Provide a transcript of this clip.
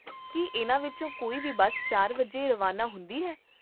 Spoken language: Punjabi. ਕੀ ਇਹਨਾਂ ਵਿੱਚੋਂ ਕੋਈ ਵੀ ਬੱਸ ਚਾਰ ਵਜੇ ਰਵਾਨਾ ਹੁੰਦੀ ਹੈ?